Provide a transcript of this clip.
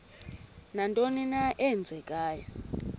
nantoni na eenzekayo